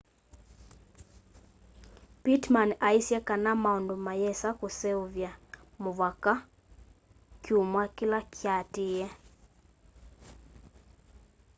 pittman aisye kana maundu mayĩsa kũseũvya mũvaka kyũmwa kĩla kyaatĩe